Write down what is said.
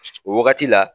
O wagati la